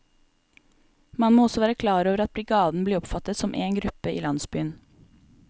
Man må også være klar over at brigaden blir oppfattet som én gruppe i landsbyen.